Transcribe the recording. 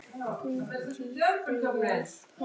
Hvíldu í friði, elsku mamma.